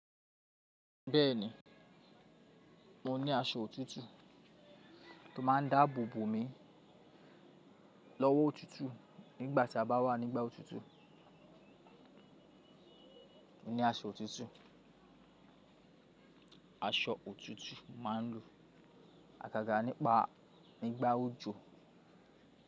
Bẹ́ẹ̀ni mo ní aṣọ òtútù tó máa ń dáàbò bò mi lọ́wọ́ òtútù nígbà tí a bá wà nígbà òtútù. Mo ní aṣọ òtútù, aṣọ òtútù máa ń lu àgàgà nípa nígbà òjò.